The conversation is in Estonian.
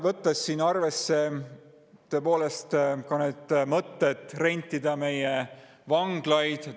Võtame siin arvesse ka mõtte rentida välja meie vanglaid.